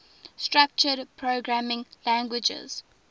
structured programming languages